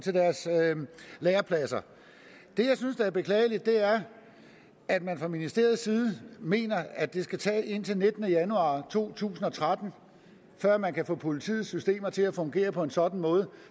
lærepladser det jeg synes er beklageligt er at man fra ministeriets side mener at det skal tage indtil den nittende januar to tusind og tretten før man kan få politiets systemer til at fungere på en sådan måde